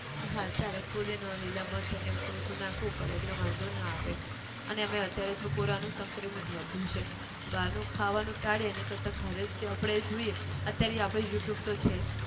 હા ચાલે ફુદીનો લીલાં મરચાં ને એવું થોડું થોડું નાખવું પડે, એટલે વાંધો ના આવે, અને એમાંયે અત્યારે જો corona નું સંક્રમિત વધ્યું છે, બહાર નું ખાવાનું ટાળીએ એની કરતાં ઘરે જ જે આપણે એ જોઈએ અત્યારે એ આપણે youtube તો છે જ